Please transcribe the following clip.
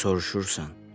Soruşursan.